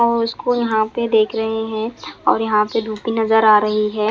और उसको यहाँ पे देख रहे है और यहाँ पे धूप भी नज़र आ रही है ।